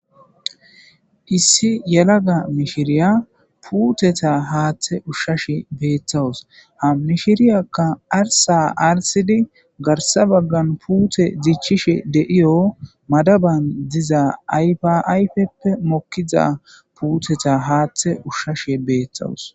Issi yalaga mishiriyya putteta haathe ushashe bettaws ha mishirrya arssa arssidi maddaban gidon ayffa ayffe puttey mokizzaga hathe ushashe bettaws.